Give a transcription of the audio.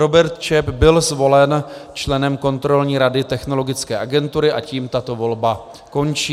Robert Čep byl zvolen členem Kontrolní rady Technologické agentury a tím tato volba končí.